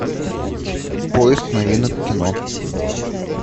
поиск новинок кино